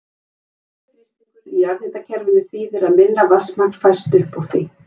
Lægri þrýstingur í jarðhitakerfinu þýðir að minna vatnsmagn fæst upp úr því.